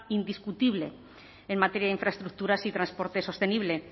indiscutible en materia de infraestructuras y transporte sostenible